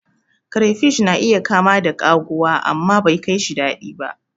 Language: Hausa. Crayfish na iya kama da kaguwa, amma bekaishi daɗi ba.